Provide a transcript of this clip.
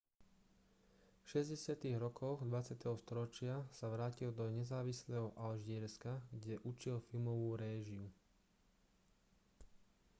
v 60. rokoch 20. storočia sa vrátil do nezávislého alžírska kde učil filmovú réžiu